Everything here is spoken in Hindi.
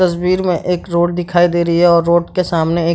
तस्वीर में एक रोड दिखाई दे रही है और रोड के सामने एक --